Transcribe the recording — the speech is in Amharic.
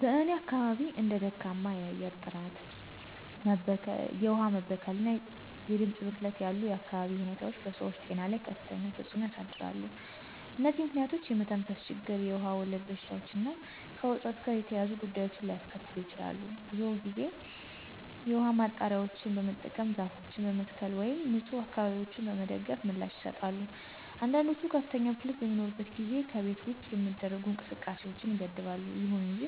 በእኔ አካባቢ እንደ ደካማ የአየር ጥራት፣ የውሃ መበከል እና የድምፅ ብክለት ያሉ የአካባቢ ሁኔታዎች በሰዎች ጤና ላይ ከፍተኛ ተጽዕኖ ያሳድራሉ። እነዚህ ምክንያቶች የመተንፈስ ችግር, የውሃ ወለድ በሽታዎች እና ከውጥረት ጋር የተያያዙ ጉዳዮችን ሊያስከትሉ ሰዎች ብዙውን ጊዜ የውሃ ማጣሪያዎችን በመጠቀም፣ ዛፎችን በመትከል ወይም ንፁህ አካባቢዎችን በመደገፍ ምላሽ ይሰጣሉ። አንዳንዶች ከፍተኛ ብክለት በሚኖርበት ጊዜ ከቤት ውጭ የሚደረጉ እንቅስቃሴዎችን ይገድባሉ። ይሁን እንጂ